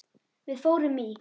Við fórum í